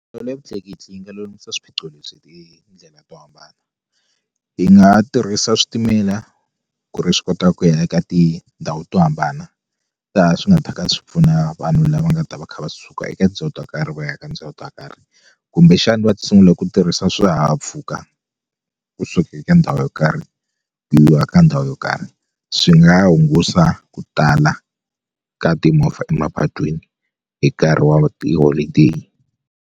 ya vutleketli yi nga lulamisa swiphiqo lebyi hi tindlela to hambana yi nga tirhisa switimela ku ri swi kota ku ya eka tindhawu to hambana laha swi nga ta ka swi pfuna vanhu lava nga ta va kha va suka eka to karhi va ya eka tindhawu to karhi kumbexani va ta sungula ku tirhisa swihahampfhuka kusuka eka ndhawu yo karhi ku yiwa ka ndhawu yo karhi swi nga hungusa ku tala ka timovha emapatwini hi nkarhi wa tiholideyi.